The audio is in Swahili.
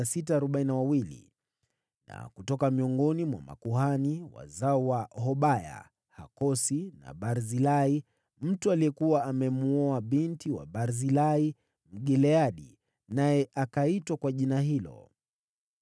Na kutoka miongoni mwa makuhani: wazao wa Hobaya, Hakosi na Barzilai (mtu aliyekuwa amemwoa binti wa Barzilai, Mgileadi, naye akaitwa kwa jina hilo).